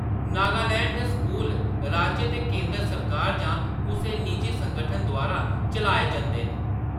नागालैंड दे स्कूल राज्य ते केंदर सरकार जां कुसै निजी संगठन द्वारा चलाए जंदे न।